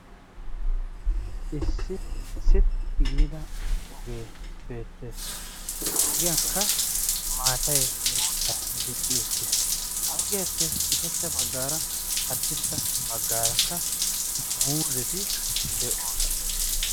issi sitti giida ogee beettees ha ogiyankka maatay guutta dicci uttiis ha ogiyaappe ushachcha baggaara haddirssa baggaarakka muuzeti de'oosana